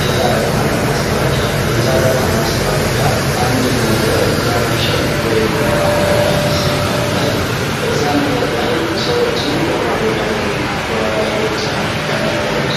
የጨረታ ማስታወቂያ የጨረታ ማስታወቂያ አንድን ነጠር ለመጥጠ ወይም ለማከራየት ሲፈለግ በዛ ነገር ላይ ሰዎች በማወዳደር እና ዋጋ ብልጫ ያመጣውን